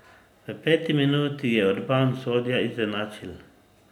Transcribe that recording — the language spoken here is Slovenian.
V peti minuti je Urban Sodja izenačil.